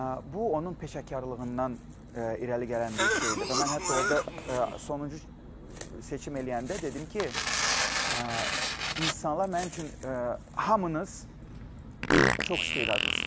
Bu onun peşəkarlığından irəli gələn bir şeydir və mən hətta orda sonuncu seçim eləyəndə dedim ki, insanlar mənim üçün hamınız çox istedadlısınız.